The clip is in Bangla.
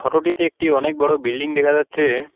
ফোটোটিতে একটি অনেক বড় বিল্ডিং দেখা যাচ্ছে।